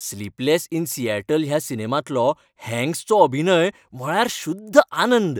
"Sleepless in Seattle" ह्या सिनेमांतलो हॅन्क्सचो अभिनय म्हळ्यार शुद्ध आनंद .